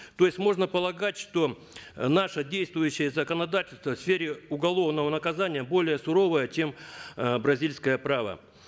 то есть можно полагать что наше действующее законодательство в сфере уголовного наказания более суровое чем э бразильское право